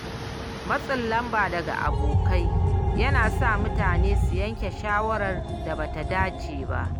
Matsin lamba daga abokai yana sa mutane su yanke shawarar da bata dace ba.